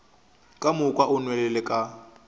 ka moka o nwelele ka